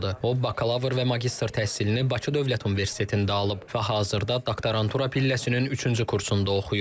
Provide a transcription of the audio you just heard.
O bakalavr və magistr təhsilini Bakı Dövlət Universitetində alıb və hazırda doktorantura pilləsinin üçüncü kursunda oxuyur.